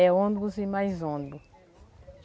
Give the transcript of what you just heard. É ônibus e mais ônibus.